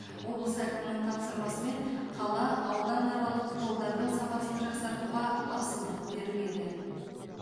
облыс әкімінің тапсырмасымен қала ауданаралық жолдардың сапасын жақсартуға басымдық беріледі